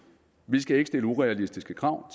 vi skal ikke stille urealistiske krav